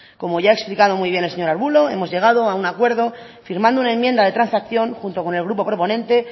como ya ha explicado muy bien el señor arbulo hemos llegado a un acuerdo firmando una enmienda de transacción junto con el grupo proponente